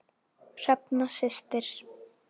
Hrefna systir.